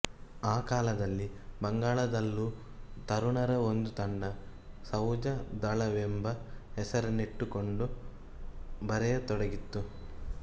ಆ ಕಾಲದಲ್ಲಿ ಬಂಗಾಳದಲ್ಲೂ ತರುಣರ ಒಂದು ತಂಡ ಸವುಜದಳವೆಂಬ ಹೆಸರನ್ನಿಟ್ಟುಕೊಂಡು ಬರೆಯತೊಡಗಿತ್ತು